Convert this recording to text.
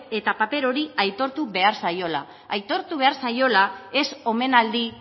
eta paper hori aitortu behar zaiola aitortu behar zaiola ez omenaldi